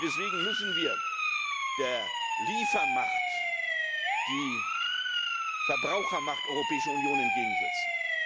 Deswegen müssen wir der Liefermacht die Verbrauchermacht der Europäischen Union entgegensetzen.